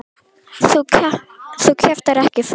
Þú kjaftar ekki frá!